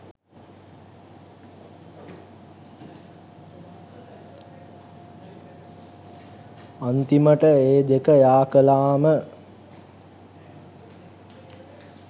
අන්තිමට ඒ දෙක යාකලාම